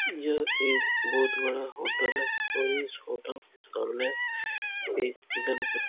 यह एक बहोत बड़ा होटल है और इस होटल के सामने एक गणपति --